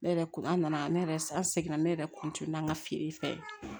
Ne yɛrɛ ko an nana ne yɛrɛ an seginna ne yɛrɛ na an ka feere fɛ